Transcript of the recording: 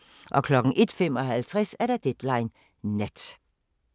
01:55: Deadline Nat